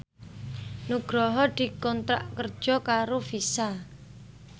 Nugroho dikontrak kerja karo Visa